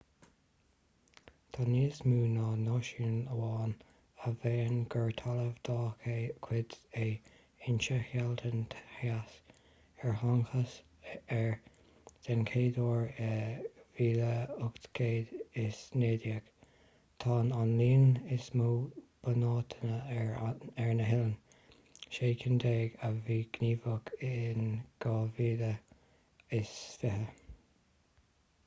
tá níos mó ná náisiún amháin a mhaíonn gur talamh dá chuid é inse shealtainn theas ar thángthas air den chéad uair in 1819 tá an líon is mó bunáiteanna ar na hoileáin sé cinn déag a bhí gníomhach in 2020